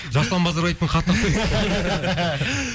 жасұлан базарбаевтың хатына ұқсайды